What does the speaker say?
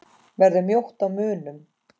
Verður mjótt á munum?